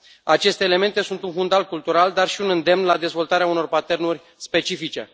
Aceste elemente sunt un fundal cultural, dar și un îndemn la dezvoltarea unor patternuri specifice.